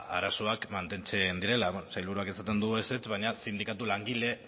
ba arazoak mantentzen direla sailburuak esaten du ezetz baina sindikatu langile